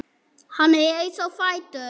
Hann reis á fætur.